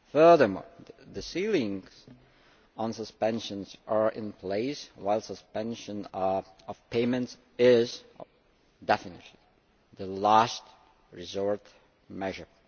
Furthermore, the ceilings on suspensions are in place, while suspension of payments is definitely a last resort measure.